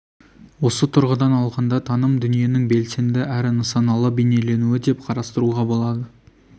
осы тұрғыдан алғанда таным дүниенің белсенді әрі нысаналы бейнеленуі деп қарастыруға болады